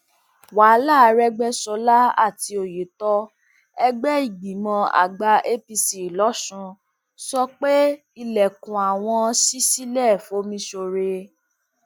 wàhálà àrègbèsọlá àti òyetọ ẹgbẹ ìgbìmọ àgbà apc losùn sọ pé ilẹkùn àwọn ṣí sílẹ fọmísọrẹ